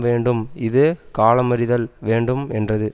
வேண்டும் இது காலமறிதல் வேண்டும் என்றது